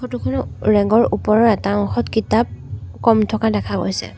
Photo খনত ৰেগৰ ওপৰৰ এটা অংশত কিতাপ কম থকা দেখা গৈছে।